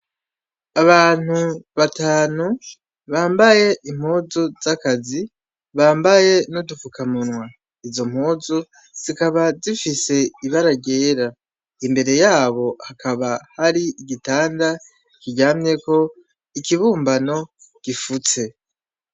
Abantu batanu bambaye impuzu z'akazi, bambaye n'udupfukamunwa. Izo mpuzu zikaba zifise ibara ryera, imbere yabo hakaba hari igitanda kiryamyeko ikibumbano gifutse.